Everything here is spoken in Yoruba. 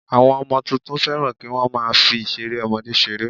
Àwọn ọmọ tuntun fẹ́ràn kí wọ́n má a fi ìseré ọmọdé seré